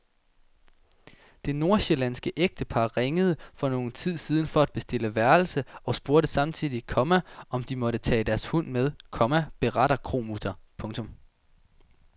Det nordsjællandske ægtepar ringede for nogen tid siden for at bestille værelse og spurgte samtidig, komma om de måtte tage deres hund med, komma beretter kromutter. punktum